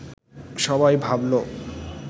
সবাই ভাবল